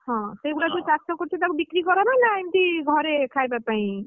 ହଁ ସେଗୁଡା ଯୋଉ ସବୁ ଚାଷ କରୁଛ ତାକୁ ବିକ୍ରି କର ନା ନାଇ ଏମିତି ଘରେ ଖାଇବା ପାଇଁ ନା ବିକ୍ରି କର?